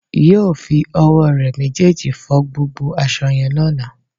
Yóò fi owó re méjèèjì fo gbogbo aso yẹn lóla